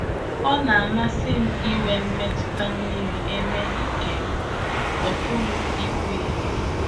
Ọ̀ na-amasị m inwe mmetụta miri emi nke m pụrụ ikwuhie?